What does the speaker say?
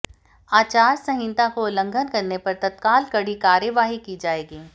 आचार संहिता का उल्लंघन करने पर तत्काल कड़ी कार्यवाही की जाएगी